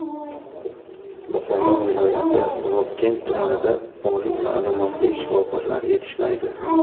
Buxoro viloyati Vobkent tumanida oliy ma’lumotli shifokorlar yetishmaydi.